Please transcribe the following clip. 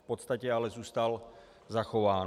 V podstatě ale zůstal zachován.